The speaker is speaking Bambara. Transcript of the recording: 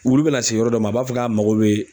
Wulu bɛ na se yɔrɔ dɔ ma a b'a fɔ k'a mago bɛ